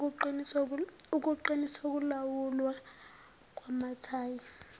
ukuqiniswa kokulawulwa kwamathayi